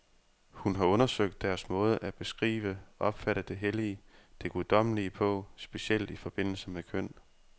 Hun har undersøgt deres måde at beskrive, opfatte det hellige, det guddommelige på, specielt i forbindelse med køn.